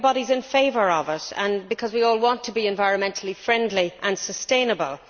Everybody is in favour of it because we all want to be environmentally friendly and sustainable.